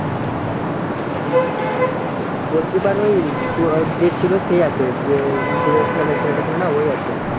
goalkeeper ও যে ছিল সেই আছে যে ছেলে টা ছিল ও আছে